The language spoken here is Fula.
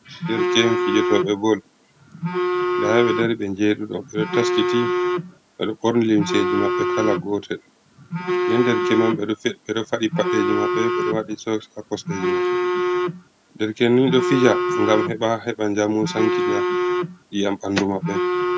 Dereke'en fijotooɓe bol ,nda ɓe ɗo dari ɓe joweɗiɗo ɓe ɗo taskiti ɓe ɗo ɓorni limseji maɓɓe kala gotel. nden dereke'n man, ɓe ɗo faɗi paɗeeji maɓɓe ɓe ɗo waɗi soksji haa kosɗeeji maɓɓe .Dereke'en ni ɗo fija ngam heɓa, heɓa njamu, sankita ƴiyam ɓanndu maɓɓe.